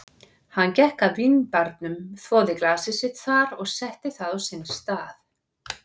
Hann gekk að vínbarnum, þvoði glasið sitt þar og setti það á sinn stað.